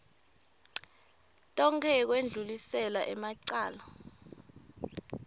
tonkhe yekwendlulisela emacala